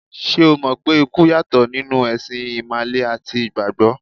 Ṣé o mọ̀ pé ikú yàtọ̀ nínú ẹ̀sìn Ìmàle àti Ìgbàgbọ́?